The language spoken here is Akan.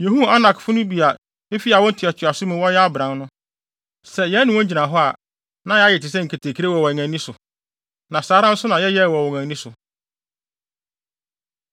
Yehuu Anakfo no bi a efi awo ntoatoaso mu wɔyɛ abran no. Sɛ yɛne wɔn gyina hɔ a, na yɛayɛ te sɛ nketekre wɔ yɛn ani so. Na saa ara nso na yɛyɛɛ wɔ wɔn ani so.”